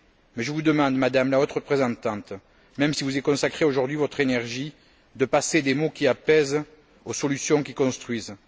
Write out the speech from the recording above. Mais je vous demande, Madame la Haute représentante, même si vous devez y consacrer toute votre énergie, de passer des mots qui apaisent aux solutions qui construisent.